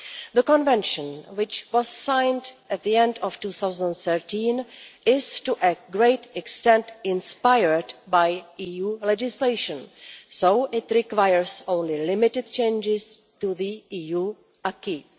The Convention, which was signed at the end of 2013, is to a great extent inspired by EU legislation, so it requires only limited changes to the EU acquis.